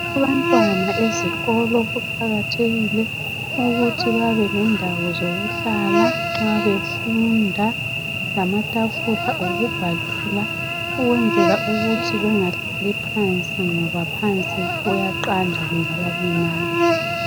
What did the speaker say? Abantwana ezikolo kuqakathekile ukuthi babelendawo zokuhlala nxa befunda lamatafula okubhalela ukwenzela ukuthi bengahlali phansi ngoba phansi kuqanda kungabalimaza.